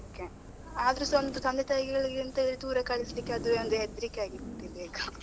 ಹ್ಮ್ ಆದ್ರುಸಾಒಂದು ತಂದೆ ತಾಯಿಗಳಿಗೆ ಎಂತ ಹೇಳಿದ್ರೆ ದೂರ ಕಳಿಸ್ಲಿಕ್ಕೆ ಅದು ಒಂದು ಹೆದ್ರಿಕೆ ಆಗ್ಬಿಟ್ಟಿದೆ ಈಗ .